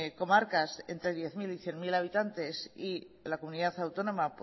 comarcas entre diez mil y cien mil habitantes y la comunidad autónoma